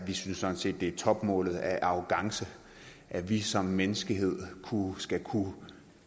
vi synes sådan set det er topmålet af arrogance at vi som menneskehed skulle kunne